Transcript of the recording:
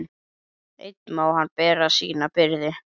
Einn má hann bera sína byrði.